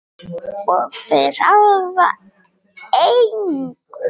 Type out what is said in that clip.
Og þau ráða engu.